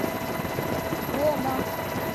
гома